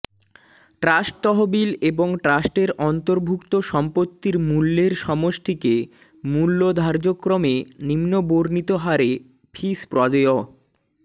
trust তহবিল এবং ট্রাস্ট্রের অন্তর্ভুক্ত সম্পত্তির মূল্যের সমষ্টিকে মূল্য ধার্যক্রমে নিম্ন বর্ণিত হারে ফিস প্রদেয়ঃ